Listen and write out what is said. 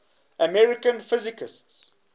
american physicists